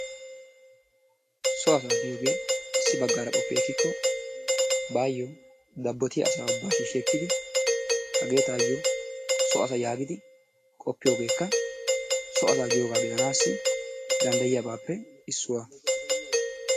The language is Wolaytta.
So asaa giyoogee issi bagaara qoppi ekkiko baayo dabottiya asaa ubaa shiishshi ekkidi hagee taayo so asa yaagid qoppiyoogekka so asaa giyobaa gidanaassi danddayiiyaabaappe issuwa.